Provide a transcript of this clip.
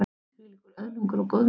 Þvílíkur öðlingur og góðmenni.